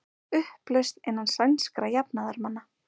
Upplausn innan sænskra jafnaðarmanna